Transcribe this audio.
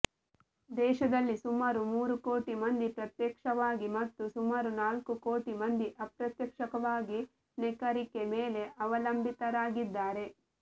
ದೇಶದಲ್ಲಿ ಸುಮಾರು ಮೂರು ಕೋಟಿ ಮಂದಿ ಪ್ರತ್ಯಕ್ಷವಾಗಿ ಮತ್ತು ಸುಮಾರು ನಾಲ್ಕು ಕೋಟಿ ಮಂದಿ ಅಪ್ರತ್ಯಕ್ಷವಾಗಿ ನೇಕಾರಿಕೆ ಮೇಲೆ ಅವಲಂಬಿತರಾಗಿದ್ದಾರೆ